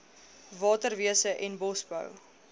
waterwese en bosbou